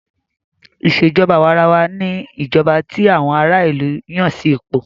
Ìṣèjọba àwàrawa ní ìjọba tí àwọn ará ìlú Yàn sí ipò.